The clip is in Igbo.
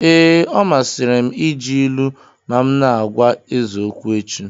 Ee, ọ masịrị m iji ilu ma m na-agwa eze okwu echi.